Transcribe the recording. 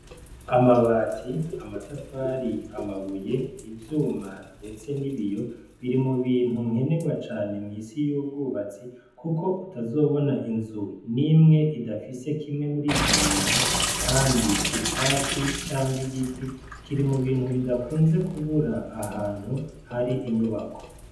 Amabati, amatafari, amabuye, ivyuma ndetse n'ibiyo biri mu bintu nkenerwa cane mwisi yubwubatsi kuko utazobona inzu nimwe idafise kimwe murivyo bintu kandi icatsi canke igiti kiri mu bintu bidakunze kubura ahantu hari inyubako.